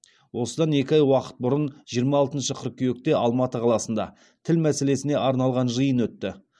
осыдан екі ай уақыт бұрын жиырма алтыншы қыркүйекте алматы қаласында тіл мәселесіне арналған жиын өтті